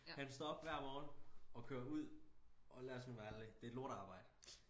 Han står op hver morgen og kører ud og lad os nu være ærlig det et lortearbejde